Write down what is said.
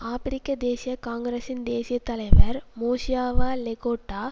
ஆபிரிக்க தேசிய காங்கிரசின் தேசிய தலைவர் மோசியவா லெகோட்டா